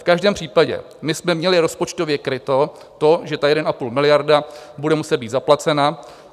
V každém případě my jsme měli rozpočtově kryto to, že 1,5 miliardy bude muset být zaplaceno.